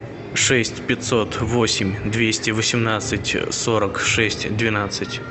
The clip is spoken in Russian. шесть пятьсот восемь двести восемнадцать сорок шесть двенадцать